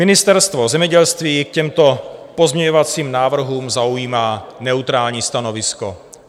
Ministerstvo zemědělství k těmto pozměňovacím návrhům zaujímá neutrální stanovisko.